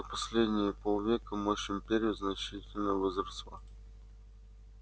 за последние полвека мощь империи значительно возросла